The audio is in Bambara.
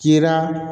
Kira